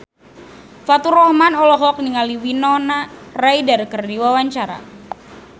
Faturrahman olohok ningali Winona Ryder keur diwawancara